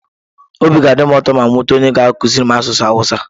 Obi ga-adị m ụtọ ma m nweta onye ga-akụziri m asụsụ awụsa.